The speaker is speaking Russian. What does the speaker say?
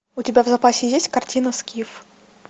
у тебя в запасе есть картина скиф